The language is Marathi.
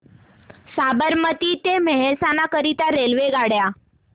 साबरमती ते मेहसाणा करीता रेल्वेगाड्या